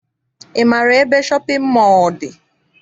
Ị maara ebe shọpịn mọọ dị?